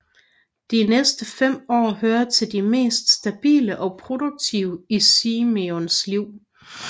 De næste fem år hører til de mest stabile og produktive i Simenons liv